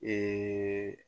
Ee